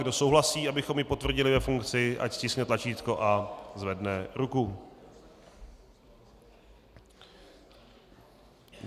Kdo souhlasí, abychom ji potvrdili ve funkci, ať stiskne tlačítko a zvedne ruku.